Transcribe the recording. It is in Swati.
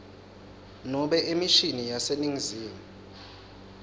nobe emishini yaseningizimu